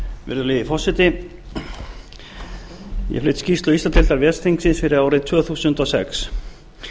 virðulegi forseti ég flyt skýrslu íslandsdeildar ves þingsins fyrir árið tvö þúsund og sex